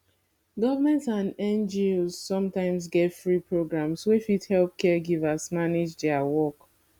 government and ngos sometimes get free programs wey fit help caregivers manage their work